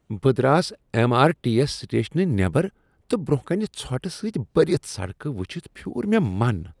بہٕ Dras M R T S سٹیشنہٕ نیبر تہٕ برٛۄنٛہہ کنہ ژھۄٹہٕ سۭتۍ بٔرتھ سڑک ؤچھتھ پھیوٗر مےٚ من۔